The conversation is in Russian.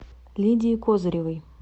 лидии козыревой